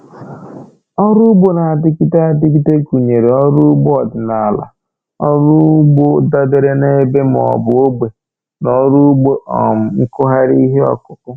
Ọrụ ugbo na-adịgide adịgide gụnyere ọrụ ugbo ọdịnaala, ọrụ ugbo dabeere n'ebe maọbụ ogbe, na ọrụ ugbo um nkụgharị ihe akụkụ